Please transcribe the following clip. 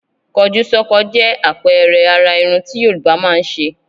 Kọjúsọ́kọ jẹ́ àpẹẹrẹ àrà irun tí Yorùbá máa ń ṣe.